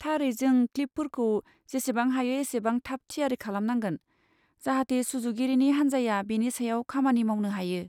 थारै जों क्लिपफोरखौ जेसेबां हायो एसेबां थाब थियारि खालामनांगोन, जाहाथे सुजुगिरिनि हान्जाया बेनि सायाव खामानि मावनो हायो।